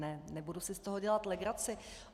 Ne, nebudu si z toho dělat legraci.